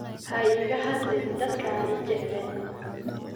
Ha iga hadlin dadka aan i jeclayn.